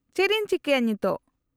-ᱪᱮᱫ ᱤᱧ ᱪᱤᱠᱟᱹᱭᱟ ᱱᱤᱛᱳᱜ ?